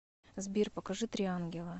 сбер покажи три ангела